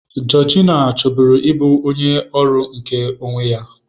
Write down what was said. Georgina chọburu ịbụ onye ọrụ nke onwe ya.